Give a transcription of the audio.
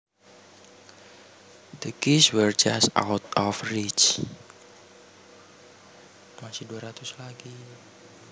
The keys were just out of reach